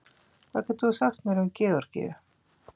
Hvað getur þú sagt mér um Georgíu?